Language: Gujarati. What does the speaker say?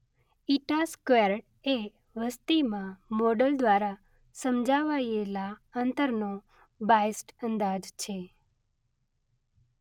ઇટા સ્ક્વેર્ડ એ વસતિમાં મોડલ દ્વારા સમજાવાયેલા અંતરનો બાયસ્ડ અંદાજ છે.